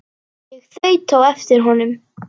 Ég þaut á eftir honum.